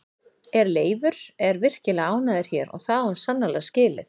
En Leifur er virkilega ánægður hér og það á hann sannarlega skilið.